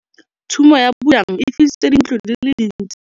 Tshumô ya bojang e fisitse dintlo di le dintsi.